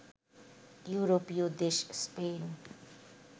ইউরোপীয় দেশ স্পেন